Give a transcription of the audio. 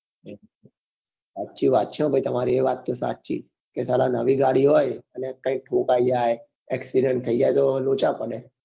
સાચી વાત છે હો ભાઈ એ વાત તો સાચી કે સાલા નવી ગાડી હોય અને કઈક ઠોકાઈ જાય accident થયી જાય તો લોચા પડે